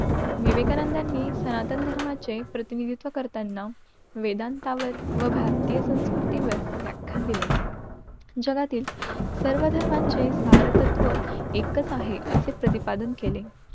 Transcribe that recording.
विवेकानंदानी सनातन धर्माचे प्रतिनिधित्व करताना वेदान्तावर भारतीय संस्कृती वर व्याख्यान दिले. जगातील सर्व धर्मांचे सर्तत्व एकच आहे. असे प्रतिपादन केले.